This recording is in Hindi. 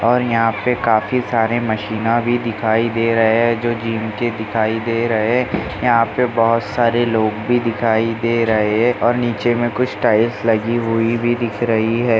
और यहाँ पे काफी सारे मशीना भी दिखाई दे रहे है जो जिम के दिखाई दे रहे है यहाँ पे बहुत सारे लोग भी दिखाई दे रहे है और नीचे मे कुछ टाइल्स लगी हुई भी दिख रही है।